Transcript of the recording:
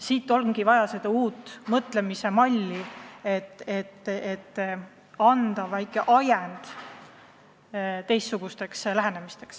Meil on vaja uut mõtlemismalli, et anda tõuge teistsugusteks lähenemisteks.